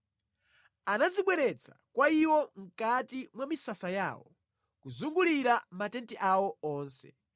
Anazibweretsa kwa iwo mʼkati mwa misasa yawo, kuzungulira matenti awo onse.